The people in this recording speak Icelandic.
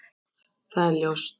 Það er ljóst.